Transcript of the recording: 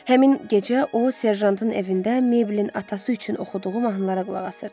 Həmin gecə o serjantın evində Meyblin atası üçün oxuduğu mahnılara qulaq asırdı.